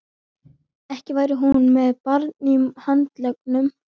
Ekki væri hún með barn í handleggjunum.